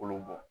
Kolo bɔ